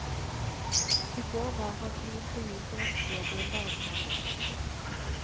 I går var han i intervju for vaskejobb i en barnehage.